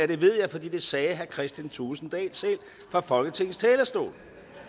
det ved jeg fordi det sagde herre kristian thulesen dahl selv fra folketingets talerstol